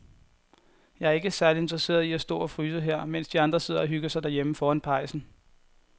Jeg er ikke særlig interesseret i at stå og fryse her, mens de andre sidder og hygger sig derhjemme foran pejsen.